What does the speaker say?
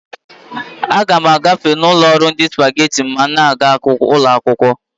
A ga m agafe ụlọ ọrụ ndi supageti ma m na-aga uloakwụkwọ